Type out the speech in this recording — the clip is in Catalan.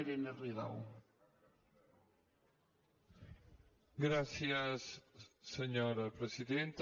gràcies senyora presidenta